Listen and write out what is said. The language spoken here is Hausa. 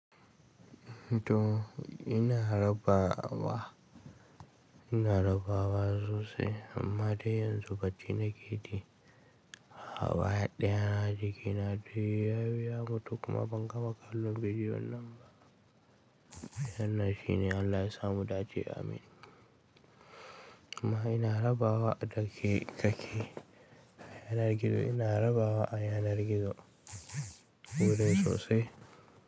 To ina rabawa, ina rabawa sosai amma dai yanzu bacci na ke yi. Gaba ɗaya jikina dai yabi ya mutu kuma ban gama kallon bidiyon nan ba. Wanna shine Allah ya sa mu dace amin. Amma ina rabawa da ke, da ke yanar gizo ina rabawa a yanar gizo wurin sosai.